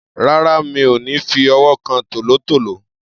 Rárá, mi ò ní fi ọwọ́ kan tòlótòó.